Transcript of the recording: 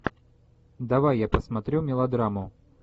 давай я посмотрю мелодраму